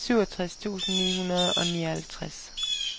syvogtres tusind ni hundrede og nioghalvtreds